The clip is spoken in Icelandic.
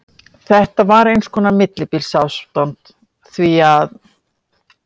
Þetta var eins konar millibilsástand, því að